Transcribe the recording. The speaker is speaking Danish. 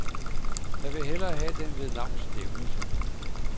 Jeg vil hellere have den ved navns nævnelse.